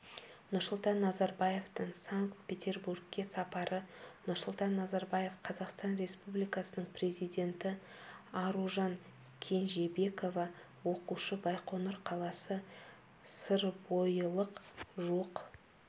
нұрсұлтан назарбаевтың санкт-петербургке сапары нұрсұлтан назарбаев қазақстан республикасының президенті аружан кенжебекова оқушы байқоңыр қаласы сырбойылық жуық